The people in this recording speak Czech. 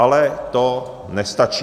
Ale to nestačí.